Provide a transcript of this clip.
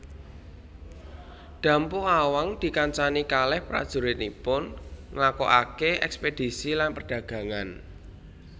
Dampo Awang dikancani kaleh prajuritipun nglakokake eskpedisi lan perdagangan